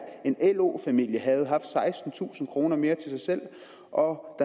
en lo familie havde haft sekstentusind kroner mere til sig selv og